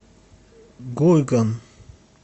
гуйган